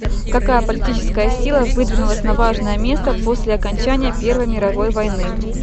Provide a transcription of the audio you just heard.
какая политическая сила выдвинулась на важное место после окончания первой мировой войны